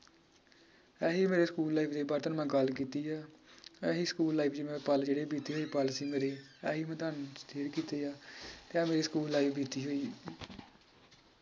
ਐਹੀ ਮੇਰੇ school life ਮੈ ਗੱਲ ਕੀਤੀ ਆ ਐਹੀ ਸਕੂਲ ਪੱਲ ਜਿਹੜੇ ਬੀਤੇ ਹੋਏ ਪੱਲ ਸੀਗੇ ਮੇਰੇ ਐਹੀ ਮੈ ਤੁਹਾਨੂੰ clear ਕੀਤੇ ਆ ਤੇ ਇਹ ਮੇਰੀ ਸਕੂਲ life ਬੀਤੀ ਹੋਈ